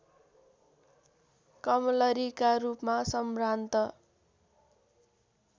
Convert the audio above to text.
कमलरीका रूपमा सम्भ्रान्त